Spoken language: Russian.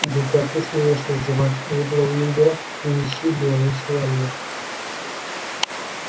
да как ты смеешь называть эйбла уиндера нищей белой швалью